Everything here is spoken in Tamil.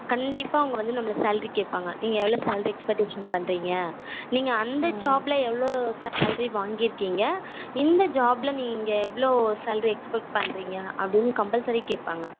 கண்டிப்பா அவங்க வந்து நம்மள salary கேப்பாங்க நீங்க எவளோ salary expectation பண்ணுரிங்க நீங்க அந்த job ல எவளோ salary வங்கிருக்கீங்க இந்த job ல நீங்க எவளோ expect பண்ணுரிங்க அப்படினு compulsory கேப்பாங்க